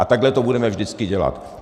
A takhle to budeme vždycky dělat.